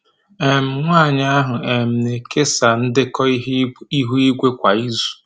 um Nwanyi ahụ um na-ekesa ndekọ ihu igwe kwa izu.